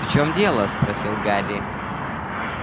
в чем дело спросил гарри